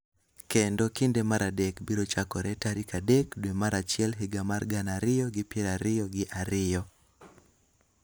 Kendo kinde mar adek biro chakore tarik adek dwe mar achiel higa mar gana ariyo gi piero ariyo gi ariyo,